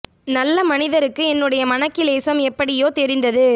நல்லமனிதருக்கு என்னுடைய மனக்கிலேசம் எப்படியோ தெரிந்து